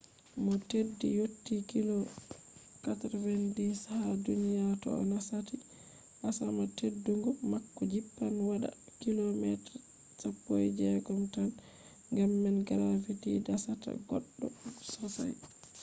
mo teddi yotti kilo 90 ha duniya to o nasati asama teddugo mako jippan waɗa kilo 16 tan gam man gravity dasata goɗɗo sosai